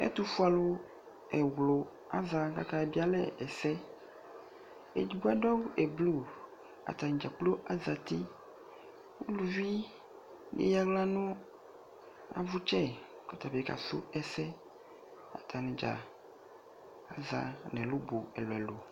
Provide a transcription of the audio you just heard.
ɛtufue alò ɛwlò aza k'ake bie alɛ ɛsɛ edigbo adu awu blu atani dza kplo azati uluvi eya ala no avutsɛ k'ɔtabi ka su ɛsɛ atani dza aza n'ɛlu bu ɛlò ɛlò